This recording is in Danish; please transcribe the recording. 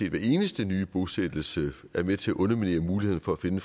at hver eneste nye bosættelse er med til at underminere muligheden for at finde